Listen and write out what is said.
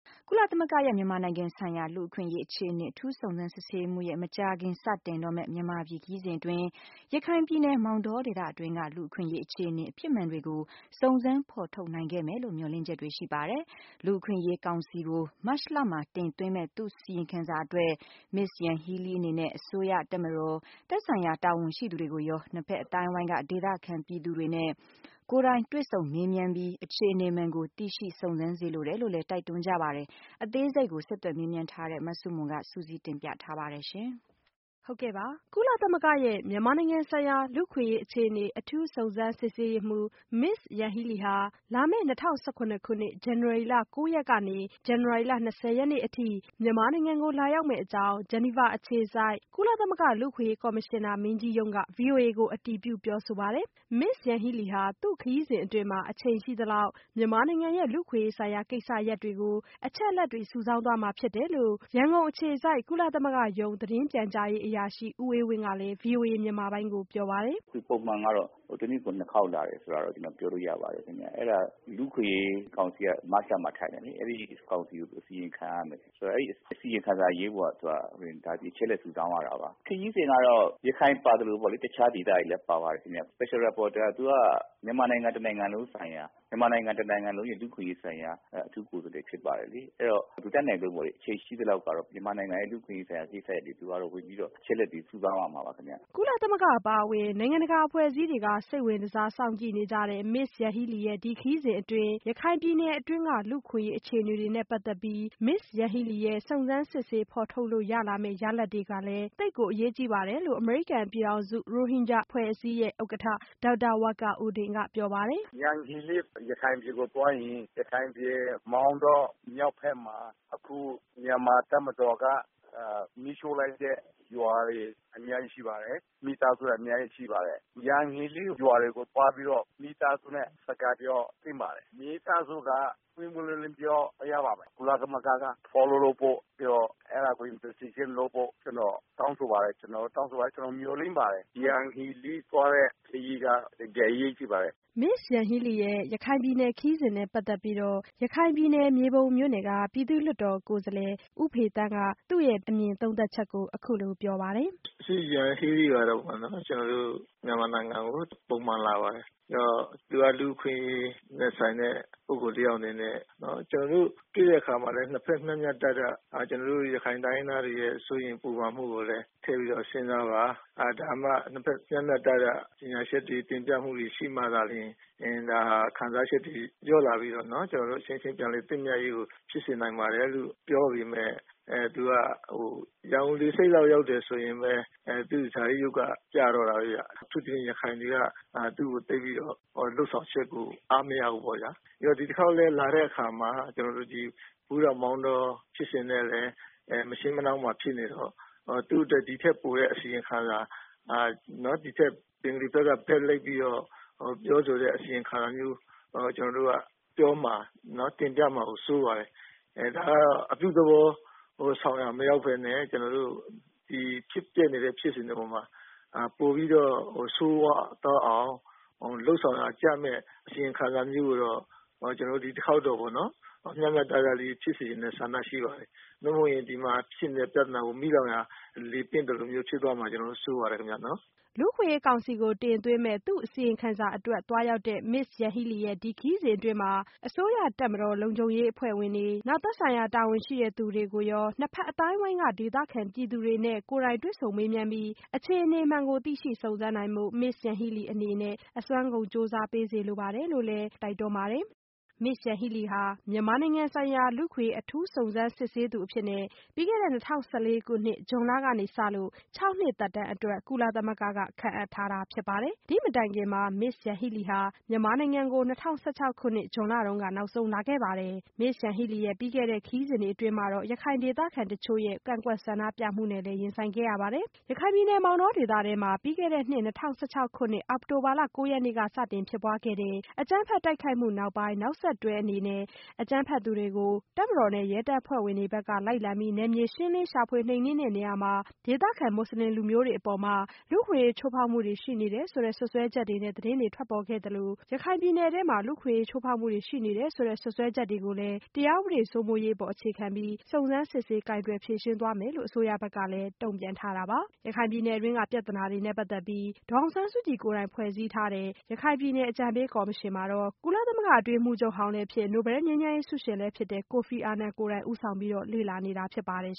ကုလသမဂ္ဂရဲ့ မြန်မာနိုင်ငံဆိုင်ရာ လူ့အခွင့်အရေး အခြေအနေ အထူး စုံစမ်းစစ်ဆေးရေးမှူးရဲ့ မကြာခင် စတင်တော့မယ့် မြန်မာပြည်ခရီးစဉ်အတွင်း ရခိုင်ပြည်နယ် မောင်တောဒေသတွင်းက လူ့အခွင့်အရေး အခြေအနေ အဖြစ်မှန်တွေကို စုံစမ်းဖော်ထုတ်နိုင်ခဲ့မယ်လို့ မျှော်လင့်ချက်တွေ ရှိပါတယ်။ လူ့အခွင့်အရေးကောင်စီကို မတ်လမှာ တင်သွင်းမယ့် သူ့အစီရင်ခံစာအတွက် မစ္စ Yanghee Lee အနေနဲ့ အစိုးရ၊ တပ်မတော်၊ သက်ဆိုင်ရာ တာဝန်ရှိသူတွေကိုရော နှစ်ဘက်အသိုင်းအဝိုင်းက ဒေသခံပြည်သူတွေနဲ့ ကိုယ်တိုင် တွေ့ဆုံမေးမြန်းပြီး အခြေအနေမှန်ကို သိရှိစုံစမ်းစေလိုတယ်လို့လည်း တိုက်တွန်းကြပါတယ်။ အသေးစိတ် ဆက်သွယ်မေးမြန်းထားတဲ့ မဆုမွန်က စုစည်းတင်ပြထားပါတယ်။ မြန်မာနိုင်ငံ လူ့အခွင့်အရေး အခြေအနေဆိုင်ရာ ကုလသမဂ္ဂ အထူးစုံစမ်းစစ်ဆေးရေးမှူး မစ္စ Yanghee Lee ဟာ လာမယ့် ၂၀၁၇ ခုနှစ် ဇန်နဝါရီလ ၉ ရက်နေ့ကနေ ဇန်နဝါရီလ၂၀ ရက်နေ့အထိ မြန်မာနိုင်ငံကို လာရောက်မယ့်အကြောင်း ဂျနီဗာအခြေစိုက် ကုလသမဂ္ဂ လူ့အခွင့်အရေး ကော်မရှင်နာမင်းကြီးရုံးက ဗွီအိုအေကို အတည်ပြု ပြောဆိုပါတယ်။ မစ္စ Yang Hee Lee ဟာ သူ့ခရီးစဉ်အတွင်း အချိန်ရှိသလောက် မြန်မာနိုင်ငံရဲ့ လူ့အခွင့်အရေးဆိုင်ရာ ကိစ္စရပ်တွေကို အချက်အလက်တွေ စုဆောင်းသွားမှာ ဖြစ်တယ်လို့ ရန်ကုန်အခြေစိုက် ကုလသမဂ္ဂရုံး သတင်းပြန်ကြားရေးအရာရှိ ဦးအေးဝင်းကလည်း VOA မြန်မာပိုင်းကို ပြောပါတယ်။ “ကျနော်ပြောလို့ရတာကတော့ ၁ နှစ်ကို ၂ ခေါက်လာတယ်လို့ ပြောလို့ရပါတယ်။ နောက်ပြီးတော့ လူ့အခွင့်အရေးကောင်စီက မတ်လမှာ ထိုင်တယ်လေ၊ အဲဒီကောင်စီကို အစီရင်ခံရမယ်။ ဆိုတော့ အဲဒီအစီအရင်ခံစာကို ရေးဖို့က ဒီအချက်အလက် စုဆောင်းရတာပါ။ ခရီးစဉ်ကတော့ ရခိုင်ပါသလို တခြားဒေသတွေလည်း ပါပါတယ်ခင်ဗျ။ Special reporter က သူက မြန်မာနိုင်ငံ တနိုင်ငံလုံးအတွက် လူ့အခွင့်အရေးဆိုင်ရာ အထူးကိုယ်စားလှယ် ဖြစ်ပါတယ်လေ။ အဲဒီတော့နော် အချိန်ရှိသလောက် ကတော့ မြန်မာနိုင်ငံရဲ့ လူ့အခွင့်အရေးဆိုင်ရာ ကိစ္စရပ်တွေကို သူက အချက်အလက်တွေ စုဆောင်းရမှာပါ။ ခရီးစဉ်အတွက်ကတော့ သူတို့ တိုက်ရိုက်ဆွေးနွေးနေပါတယ်ခင်ဗျ” ကုလသမဂ္ဂ အပါအဝင် နိုင်ငံတကာ အဖွဲ့အစည်းတွေက စိတ်ဝင်စားစောင့်ကြည့်နေကြတဲ့ မစ္စYanghee Lee ရဲ့ ဒီခရီးစဉ်အတွင်း ရခိုင်ပြည်နယ်တွင်းက လူ့အခွင့်အရေး အခြေအနေတွေနဲ့ ပတ်သက်လို့ မစ္စ Yanghee Lee ရဲ့ စုံစမ်းစစ်ဆေး ဖော်ထုတ်လို့ရလာမယ့် ရလဒ်တွေကလည်း သိပ်ကို အရေးကြီးပါတယ်လို့ အမေရိကန်ပြည်ထောင်စု ရိုဟင်ဂျာ အဖွဲ့အစည်းရဲ့ ဥက္ကဋ္ဌ ဒေါက်တာ Wakar Uddinက ပြောပါတယ်။ “Yanghee Lee ရခိုင်ပြည်နယ်ကိုသွားရင် ရခိုင်ပြည် မောင်တောမြောက်ဘက်မှာ အခု မြန်မာ့တပ်မတော်က မီးရှို့လိုက်တဲ့ ရွာတွေ အများကြီးရှိပါတယ်။ မိသားစု အများကြီးရှိပါတယ်။ Yanghee Lee ရွာတွေကိုသွားပြီးတော့ မိသားစုနဲ့ စကားပြောသင့်ပါတယ်။ မိသားစုက ပွင့်ပွင့်လင်းလင်း ပြောရပါမယ်။ ကုလသမဂ္ဂ က အဲဒါကို စုံစမ်းစစ်ဆေးဖို့ ကျနော် တောင်းဆိုပါတယ်။ ကျနော် မျှော်လင့်ပါတယ်။ Yanghee Lee သွားတဲ့ခရီးက တကယ့်ကို အရေးကြီးပါတယ်။” မစ္စ Yanghee Lee ရဲ့ ရခိုင်ပြည်နယ်ခရီးစဉ်နဲ့ပတ်သက်ပြီး- ရခိုင်ပြည်နယ် မြေပုံမြို့နယ်က ပြည်သူ့လွှတ်တော်က လွှတ်တော်ကိုယ်စားလှယ် ဦးဖေသန်းက အခုလို သုံးသပ်ပါတယ်။ “Yanghee Lee ကပေါ့နော် ကျနော်တို့ မြန်မာနိုင်ငံကို ပုံမှန်လာပါတယ်။ သူက လူ့အခွင့်အရေးနဲ့ဆိုင်တဲ့ ပုဂ္ဂိုလ်တယောက်အနေနဲ့ ကျနော်တို့ တွေ့တဲ့အခါမှာလည်း မျှမျှတတ ကျနော်တို့ ရခိုင်တိုင်းရင်းသားတွေရဲ့ စိုးရိမ်ပူပန်မှုကိုလည်း ထည့်ပြီးတော့ စဉ်းစားပါ။ ဒါမှ နှစ်ဘက် မျှမျှတတ ကြေညာချက်တွေ၊ တင်ပြမှုတွေရှိမှသာလျှင် ဒါဟာ ခံစားချက်တွေ လျော့လာပြီးတော့နော် ကျနော်တို့ အချင်းချင်း ပြန်လည်သင့်မြတ်ရေးကို ဖြစ်စေနိုင်ပါတယ်လို့ ပြောပေမဲ့ သူက ရန်ကုန်လေဆိပ်လောက် ရောက်တယ်ဆိုရင်ပဲ သူ့ရဲ့ဇာတိရုပ်က ပြတော့တာပဲဗျ။ အထူးသဖြင့် ရခိုင်တွေက သူ့ရဲ့လုပ်ဆောင်ချက်ကို သိပ်ပြီးတော့ အားမရဘူးပေါ့ဗျာ။ ဒီတခေါက်လည်း လာတဲ့အခါမှာ ကျနော်တို့ ဘူးသီးတောင်၊ မောင်တော ဖြစ်စဉ်နဲ့လည်း မရှေးမနှောင်းမှာဖြစ်နေတော့ ဒီထက်ပိုတဲ့ အစီရင်ခံစာ ဘင်္ဂါလီဘက်ကနေ ဘက်လိုက်ပြီးတော့ ပြောဆိုတဲ့ အစီရင်ခံစာမျိုး ပြောမှာ တင်ပြမှာကို စိုးပါတယ်။ ဒါဟာ အပြုသဘောဆောင်ရာ မရောက်ဘဲနဲ့ ကျနော်တို့ ဖြစ်ပျက်နေတဲ့ ဖြစ်စဉ်တွေအပေါ်မှာ ပိုပြီး ဆိုးရွားသွားအောင် လုပ်ဆောင်ရာကျမယ့် အစီရင်ခံစာမျိုးကိုတော့ ဒီတခေါက်တော့ပေါ့နော် မျှမျှတတလေး ဖြစ်စေချင်တဲ့ ဆန္ဒရှိပါတယ်။ မဟုတ်ရင်တော့ ဒီမှာဖြစ်နေတဲ့ ပြဿနာကို မီးလောင်ရာ လေပင့်သလို ဖြစ်သွားမှာကို စိုးရိမ်ပါတယ်ခင်ဗျ။” လူ့အခွင့်အရေးကောင်စီကို တင်သွင်းမယ့် သူ့အစီရင်ခံစာအတွက်သွားရောက်တဲ့ မစ္စ Yanghee Lee ရဲ့ ဒီခရီးစဉ်အတွင်း အစိုးရ၊ တပ်မတော်၊ ရဲလုံခြုံရေးအဖွဲ့ဝင်တွေ၊ သက်ဆိုင်ရာတာဝန်ရှိသူတွေကိုရော နှစ်ဘက်အသိုင်းအဝိုင်းက ဒေသခံပြည်သူတွေနဲ့ ကိုယ်တိုင် တွေ့ဆုံမေးမြန်းပြီး အခြေအနေမှန်ကို သိရှိစုံစမ်းနိုင်ဖို့ မစ္စ Yanghee Lee အနေနဲ့ အစွမ်းကုန် ကြိုးစားပေးစေလိုပါတယ်လို့လည်း ဒေါက်တာ Wakar Uddin က တိုက်တွန်းကြပါတယ်။ မစ္စ Yang Hee Lee ဟာ မြန်မာနိုင်ငံဆိုင်ရာ လူ့အခွင့်အရေးအထူးစုံစမ်းစစ်ဆေးသူအဖြစ် ပြီးခဲ့တဲ့၂၀၁၄ ခုနှစ် ဇွန်လကစလို့ ၆ နှစ် သက်တမ်းအတွက် ကုလသမဂ္ဂက ခန့်အပ်ခံထားရတာဖြစ်ပါတယ်။ ဒီ့မတိုင်ခင် မစ္စ Yang Hee Lee မြန်မာနိုင်ငံကို နောက်ဆုံး လာခဲ့တာကတော့ ၂၀၁၆ ခုနှစ် ဇွန်လကဖြစ်ပါတယ်။ မစ္စ Yang Hee Leeရဲ့ ပြီးခဲ့တဲ့ခရီးစဉ်တွေအတွင်းမှာတော့ ရခိုင်ဒေသခံတချို့ရဲ့ ကန့်ကွက်ဆန္ဒပြမှုနဲ့လည်း ရင်ဆိုင်ခဲ့ရတာပါ။ ရခိုင်ပြည်နယ် မောင်တောဒေသတွင်းမှာ ပြီးခဲ့တဲ့နှစ် ၂၀၁၆ခုနှစ် အောက်တိုဘာလ ၉ရက်နေ့ဖြစ်ပွားတဲ့ အကြမ်းဖက် တိုက်ခိုက်မှု နောက်ပိုင်း နောက်ဆက်တွဲ အကြမ်းဖက်သူတွေကို တပ်မတော်နဲ့ ရဲတပ်ဖွဲ့ဘက်က လိုက်လံပြီး နယ်မြေရှင်းလင်း ရှာဖွေနှိမ်နှင်းတဲ့နေရာမှာ ဒေသခံမူဆလင်လူမျိုးတွေအပေါ် လူ့အခွင့်အရေး ချိုးဖောက်မှု ရှိနေတယ်ဆိုတဲ့ စွပ်စွဲချက်တွေနဲ့ သတင်းထွက်ပေါ်သလို ရခိုင်ပြည်နယ်မှာ ဖြစ်ပွားနေတဲ့ လူ့အခွင့်အရေး ချိုးဖောက်မှုတွေ ရှိနေတယ်ဆိုတဲ့ စွပ်စွဲချက်တွေကို တရားဥပဒေစိုးမိုးရေး အပေါ် အခြေခံပြီး စုံစမ်းစစ်ဆေး ကိုင်တွယ်ဖြေရှင်းသွားမယ်လို့ အစိုးရဘက်ကလည်း တုံ့ပြန်ထားတာပါ။ ရခိုင်ပြည်နယ်တွင်းက ပြသနာတွေနဲ့ပတ်သက်ပြီး ဒေါ်အောင်ဆန်းစုကြည်ကိုယ်တိုင် ဖွဲ့စည်းထားတဲ့ရခိုင်ပြည်နယ် အကြံပေးကော်မရှင်မှာတော့ ကုလသမဂ္ဂ အတွင်းရေးမှူးချုပ်ဟောင်းလည်းဖြစ်၊ နိုဘဲလ်ငြိမ်းချမ်းရေးဆုရှင်လည်းဖြစ်တဲ့ ကိုဖီအာနန် ဦးဆောင်ပြီး လေ့လာနေတာဖြစ်ပါတယ်